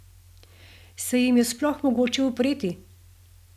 Se jim je sploh mogoče upreti?